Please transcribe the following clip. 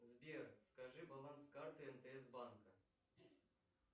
сбер скажи баланс карты мтс банка